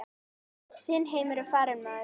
Þinn heimur er farinn maður.